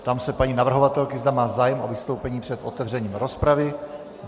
Ptám se paní navrhovatelky, zda má zájem o vystoupení před otevřením rozpravy.